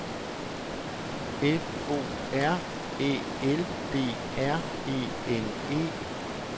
F O R Æ L D R E N E